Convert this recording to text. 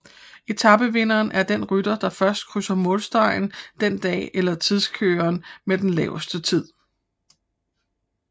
Etape vinderen er den rytter der først krydser målstregen den dag eller tidskøreren med den laveste tid